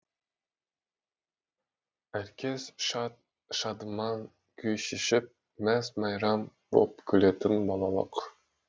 әркез шат шадыман күй кешіп мәз мейрам боп күлетін балалық